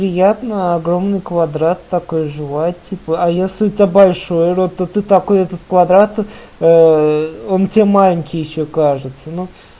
приятно огромный квадрат такой жевать типа а если у тебя большой рот то ты такой этот квадрат он тебе маленький ещё кажется